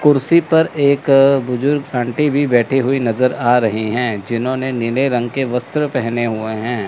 कुर्सी पर एक बुजुर्ग आंटी भी बैठी हुई नजर आ रही हैं जिन्होंने नीले रंग के वस्त्र पहने हुए हैं।